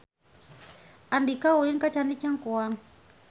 Andika ulin ka Candi Cangkuang